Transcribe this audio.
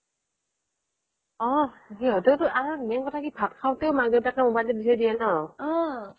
অহ সিহতেও টো আৰু main কথা কি ভাত খাওতেও মাক দেউতাকে মোবাইলটো দি থৈ দিয়ে ন